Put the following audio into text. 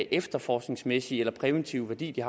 efterforskningsmæssige eller præventive værdi det